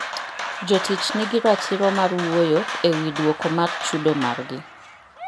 Jotich nigi ratiro mar wuoyo e wi dwoko mar chudo margi.